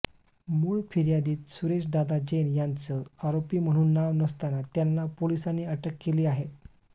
मूळ फिर्यादीत सुरेश दादा जैन यांचं आरोपी म्हणून नाव नसताना त्यांना पोलिसांनी अटक केली आहे